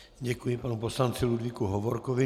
Děkuji panu poslanci Ludvíku Hovorkovi.